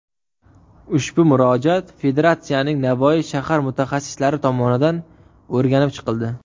Ushbu murojaat Federatsiyaning Navoiy shahar mutaxassislari tomonidan o‘rganib chiqildi.